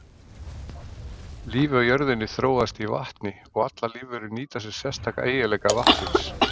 Lífið á jörðinni þróaðist í vatni og allar lífverur nýta sér sérstaka eiginleika vatnsins.